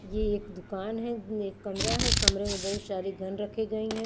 ये एक दुकान है एक कमरा है कमरे में बहुत सारे गन रखे गई हैं।